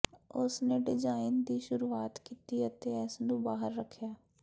ਉਸ ਨੇ ਡਿਜ਼ਾਈਨ ਦੀ ਸ਼ੁਰੂਆਤ ਕੀਤੀ ਅਤੇ ਇਸ ਨੂੰ ਬਾਹਰ ਰੱਖਿਆ